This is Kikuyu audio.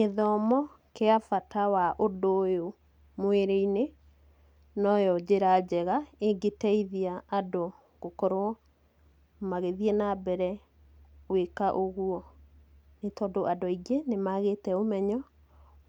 Gῖthomo kῖa bata wa ũndũ ῦyῦ mwῖrῖ-inῖ no yo njῖra njega ῖngῖteithia andῦ gῦkorwo magῖthie na mbere gwῖka ῦguo nῖ tondῦ andῦ aingῖ nῖmagῖte ῦmenyo